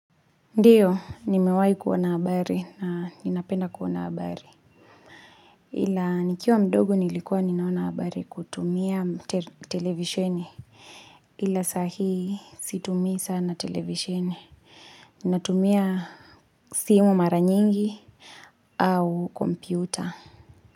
Ndiyo ni mewai kuona bahari na ninapenda kuona bahari ila nikiwa mdogo nilikuwa ninaona habari kutumia televisheni ila sahii situmii sana televisheni ninatumia simu mara nyingi au kompyuta.